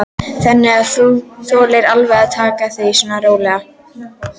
Þannig að þú þolir alveg að taka því svona rólega?